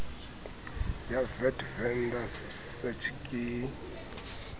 ya vat vendor search ke